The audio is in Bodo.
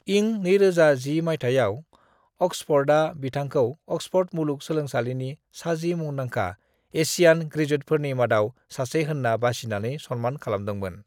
इं 2010 माइथायाव ऑक्सफोर्डआ बिथांखौ ऑक्सफोर्ड मुलुग सोलोंसालिनि साजि मुंदांखा एसियान ग्रेजुवेटफोरनि मादाव सासे होनना बासिनानै सन्मान खालामदोंमोन।